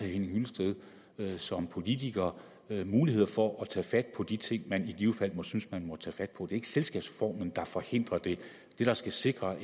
henning hyllested som politiker mulighed for at tage fat på de ting man i givet fald synes man må tage fat på det ikke selskabsformen der forhindrer det det der skal sikre